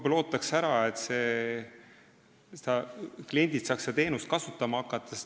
Ma ootaksin ära, et kliendid saaksid seda teenust kasutama hakata.